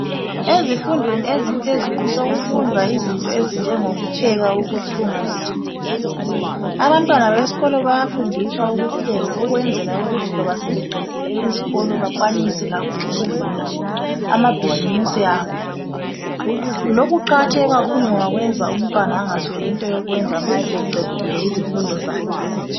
Ezifundweni eziphezulu sekufundwa izinto ezinjengokupheka, ukuthunga lokulima. Abantwana besikolo bayafundiswa ukupheka ukwenzela ukuthi loba sebeqedile izikolo bakwanise labo ukuvula amabhisimusi abo. Lokhu kuqakathekile kakhulu ngoba kuyenza umntwana angasweli into yokwenza nxa eseqedile izifundo zakhe.